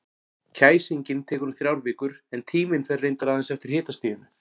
Kæsingin tekur um þrjár vikur, en tíminn fer reyndar aðeins eftir hitastiginu.